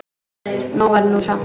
Nóg var nú samt.